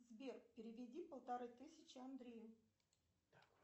сбер переведи полторы тысячи андрею